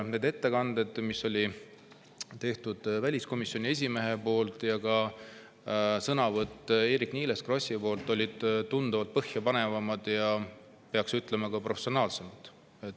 Ettekanne, mille tegi väliskomisjoni esimees, ja ka Eerik-Niiles Krossi sõnavõtt olid tunduvalt põhjapanevamad ning peab ütlema, et ka professionaalsemad.